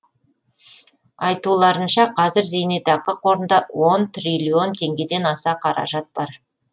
айтуларынша қазір зейнетақы қорында он триллион теңгеден аса қаражат бар